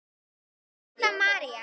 Setta María.